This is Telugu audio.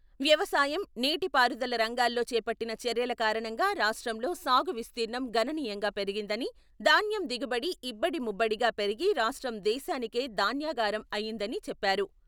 వ్యవసాయం నీటిపారుదల రంగాల్లో చేపట్టిన చర్యలు కారణంగా రాష్ట్రంలో సాగు విస్తిరణం గణనీయంగా పెరిగిందని ధాన్యం దిగుబడి ఇబ్బడి ముబ్బడిగా పెరిగి రాష్ట్రం దేశానికే ధాన్యాగారం అయిందని చెప్పారు.